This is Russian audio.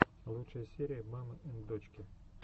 лучшая серия мамы энд дочки